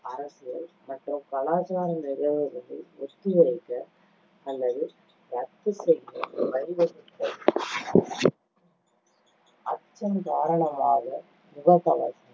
அரசியல் மற்றும் கலாச்சார நிகழ்வுகளை ஒத்திவைக்க அல்லது ரத்து செய்ய வழிவகுத்தது. அச்சம் காரணமாக முகக்கவசம்,